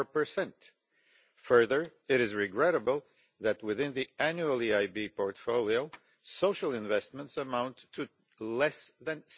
4. Furthermore, it is regrettable that within the annual EIB portfolio social investments amount to less than